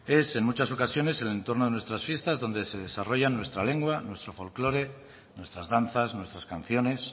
es en muchas ocasiones en el entorno de nuestras fiestas donde se desarrolla nuestra lengua nuestro folclore nuestras danzas nuestras canciones